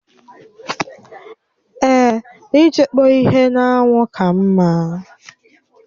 Èè, ịchekpọ ihe n'anwụ ka mma